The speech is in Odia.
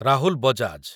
ରାହୁଲ ବଜାଜ